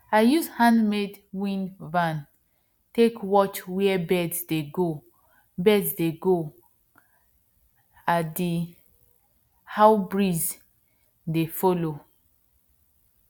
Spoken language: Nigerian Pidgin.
i use handmade wind van take watch where birds dey go birds dey go a d how breeze dey follow